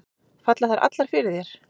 Falla þær allar fyrir þér?